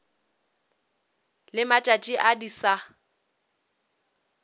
le matšatši a di sa